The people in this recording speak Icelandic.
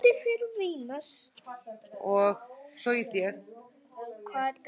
En hvað dreif þær áfram?